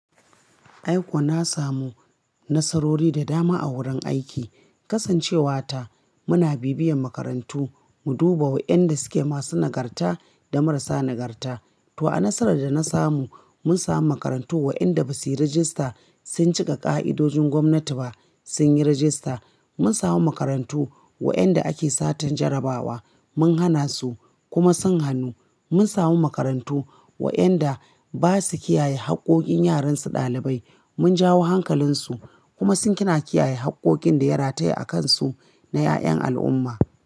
Ai ko na samu nasarori da dama a wurin aiki, kasancewata muna bibiyar makarantu mu duba wa'yanda suke masu nagarta da marasa nagarta. To a nasarar da na samu, mun samu makarantu wa'yanda basu yi rajista, sun cika ƙa'idojin gwamnati ba, sun yi rajista. Mun samu makarantu wa'yanda ake satan jarabawa, mun hana su kuma sun hanu. Mun samu makarantu wa'yanda basu kiyaye haƙƙoƙin yaran su ɗalibai, mun jawo hankalinsu kuma sun kina kiyaye haƙƙoƙin da ya rataye a kansu na 'ya'yan al'umma.